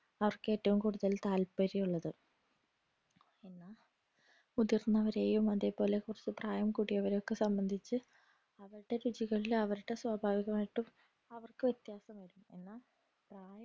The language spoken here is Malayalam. അവർക് ഏറ്റവും കൂടുതൽ താത്പര്യമുള്ളത് എന്ന മുതിർന്നവരെയും അതെ പോലെ കൊറച്ചു പ്രായം കൂടിയവരൊക്കെ സംബന്ധിച്ചു അവരുടെ രുചികളിൽ അവരുടെ സ്വാഭാവികമായിട്ടും അവർക്കു വിത്യാസം വരും എന്ന